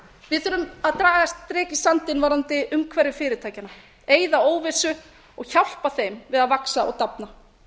við þurfum að draga strik í sandinn varðandi umhverfi fyrirtækjanna eyða óvissu og hjálpa þeim að vaxa og dafna